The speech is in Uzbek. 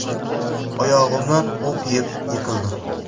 Oyog‘imdan o‘q yeb, yiqildim.